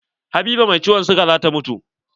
Habiba mai ciwon siga zata mutu.